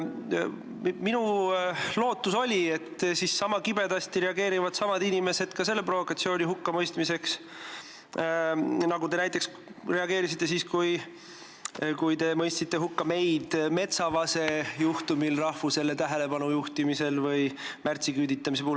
Minu lootus oli, et samad inimesed reageerivad sama kibedasti, mõistes ka selle provokatsiooni hukka, nagu te näiteks reageerisite siis, kui te mõistsite hukka meid Metsavase juhtumi korral või märtsiküüditamise juhtumi puhul rahvusele tähelepanu juhtimise eest.